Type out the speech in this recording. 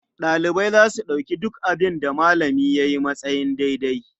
Ɗalibai za su ɗauki duk abin da malami ya yi a matsayin daidai.